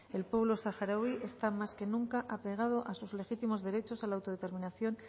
el pueblo saharaui está más que nunca apegado a sus legítimos derechos a la autodeterminación